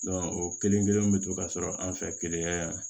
o kelen kelen bi to ka sɔrɔ an fɛ keleya yan